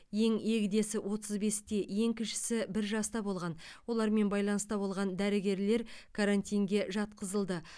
ең егдесі отыз бесте ең кішісі бір жаста болған олармен байланыста болған дәрігерлер карантинге жатқызылды